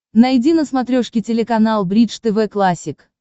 найди на смотрешке телеканал бридж тв классик